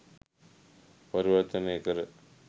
පරිවර්තනය කර